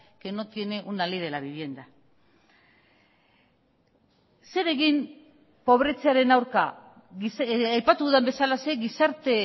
que no tiene una ley de la vivienda zer egin pobretzearen aurka aipatu dudan bezalaxe gizarte